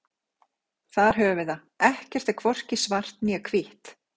Þar höfum við það: ekkert er hvorki svart né hvítt.